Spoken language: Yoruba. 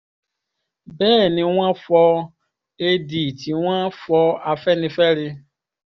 bẹ́ẹ̀ ni wọ́n fọ ad tí wọ́n fọ afẹ́nifẹ́re